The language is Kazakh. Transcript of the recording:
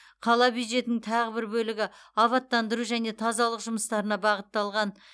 қала бюджетінің тағы бір бөлігі абаттандыру және тазалық жұмыстарына бағытталған